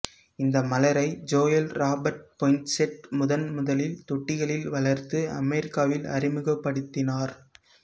இந்த மலரை Joel Robert Poinsett முதன்முதலில் தொட்டிகளில் வளர்த்து அமெரிக்காவில் அறிமுகப்படுத்தினார்